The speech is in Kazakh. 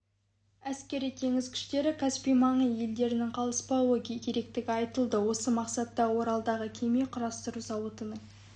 әскери теңіз күштері каспий маңы елдерінен қалыспауы керектігі айтылды осы мақсатта оралдағы кеме құрастыру зауытының